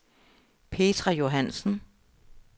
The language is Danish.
Petra Johansen